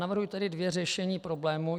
Navrhuji tedy dvě řešení problému.